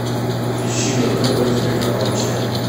ищи на тв телеканал че